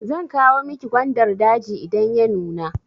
Zan kawo miki gwandar daji idan ya nuna.